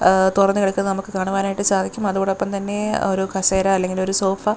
egg തൊറന്നു കിടക്കുന്നത് നമക്ക് കാണുവാനായിട്ട് സാധിക്കും അതോടൊപ്പം തന്നെ ഒരു കസേര അല്ലെങ്കിൽ ഒരു സോഫ--